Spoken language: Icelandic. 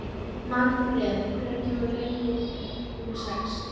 Manfreð, hvenær kemur leið númer sex?